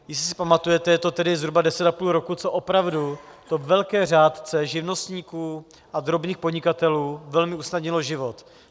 Jestli si pamatujete, je to tedy zhruba deset a půl roku, co opravdu to velké řádce živnostníků a drobných podnikatelů velmi usnadnilo život.